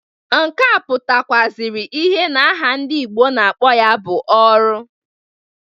Nke a pụtakwụazịrị ihe na-aha ndị Igbo na-akpo ya bụ ọrụ.